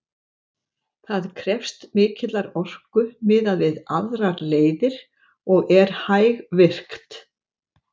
Það krefst mikillar orku miðað við aðrar leiðir og er hægvirkt.